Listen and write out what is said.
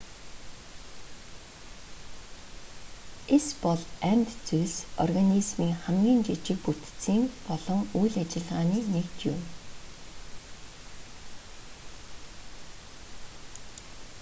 эс бол амьд зүйлс организмын хамгийн жижиг бүтцийн болон үйл ажиллагааны нэгж юм